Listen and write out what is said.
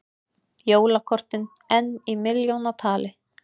Jólakortin enn í milljónatali